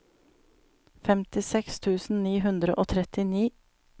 femtiseks tusen ni hundre og trettini